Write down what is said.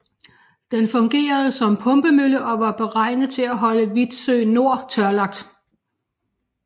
Den fungerede som pumpemølle og var beregnet til at holde Vitsø Nor tørlagt